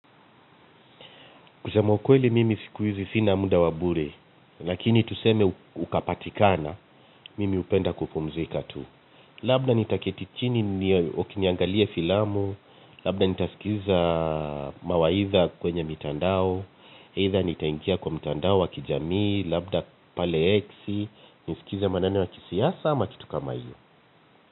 Kusema ukweli mimi siku hizi sina muda wa bure, lakini tuseme ukapatikana, mimi hupenda kupumzika tu. Labda nitaketi chini niangalie filamu labda nitasikiza mawaidha kwenye mtandao aidha nitaingia kwenye mitandao ya kijamii labda pale X nisikize maneno ya siasa ama mambo kama hiyo.